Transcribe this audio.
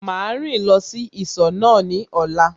Màá rìn lọ sí ìsọ̀ náà ní ọ̀la